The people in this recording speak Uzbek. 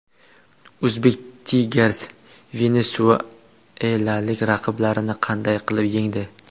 Uzbek Tigers venesuelalik raqiblarini qanday qilib yengdi?